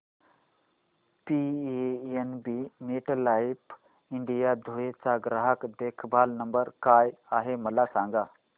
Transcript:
PNB MetLife India Dhule चा ग्राहक देखभाल नंबर काय आहे मला सांगा